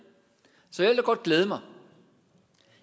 så jeg vil godt glæde mig